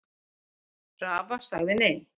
Rafa sagði nei.